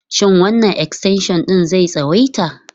Shin wannan extension ɗin zai tsawaita?